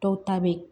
Dɔw ta bɛ ye